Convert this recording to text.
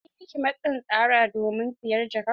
An yi miki matsin tsara domin siyan jakar?